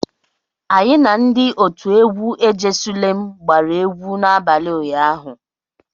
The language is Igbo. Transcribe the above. Anyị na ndị otu egwu "ejesulem gbara egwu n'abalị ụnyaahụ.